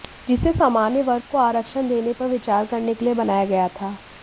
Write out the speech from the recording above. जिसे सामान्य वर्ग को आरक्षण देने पर विचार करने के लिए बनाया गया था